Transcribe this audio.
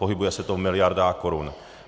Pohybuje se to v miliardách korun.